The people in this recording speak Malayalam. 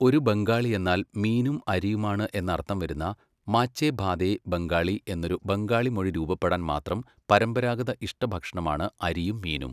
ഒരു ബംഗാളിയെന്നാൽ മീനും അരിയുമാണ് എന്നർത്ഥം വരുന്ന മാച്ചേ ഭാതേ ബംഗാളി എന്നൊരു ബംഗാളി മൊഴി രൂപപ്പെടാൻ മാത്രം പരമ്പരാഗത ഇഷ്ടഭക്ഷണമാണ് അരിയും മീനും.